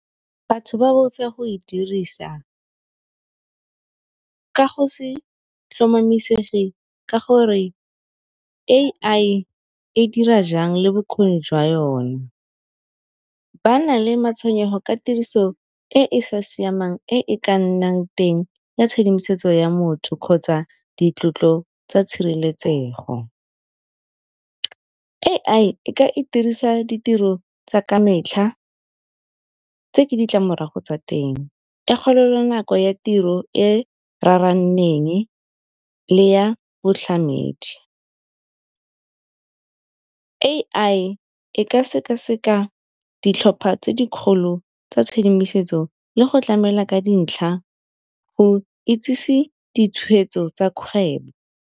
Batho ba boifa go e dirisa ka go se tlhomamisege ka gore A_I e dira jang le bokgoni jwa yone. Ba na le matshwenyego ka tiriso e e sa siamang e ka nnang teng ya tshedimosetso ya motho kgotsa di tlotlo tsa tshireletsego. A_I e ka itirisa ditiro tsa ka metlha tse ke ditlamorago tsa teng, e kgaola nako ya tiro e raraneng le ya boitlhamedi. A_I e ka sekaseka ditlhopha tse di kgolo tsa tshedimosetso le go tlamela ka dintlha go itsise ditshweetso tsa kgwebo.